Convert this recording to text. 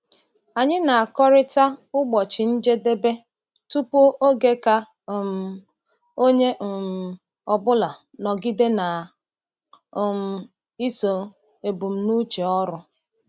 Anyị na-akọrịta ụbọchị njedebe tupu oge ka um onye um ọbụla nọgide na um iso ebumnuche ọrụ.